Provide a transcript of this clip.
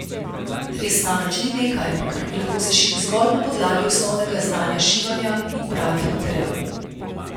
Dres namreč ni nekaj, kar bi lahko sešili zgolj na podlagi osnovnega znanja šivanja in pravih materialov.